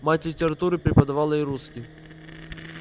мать литературу преподавала и русский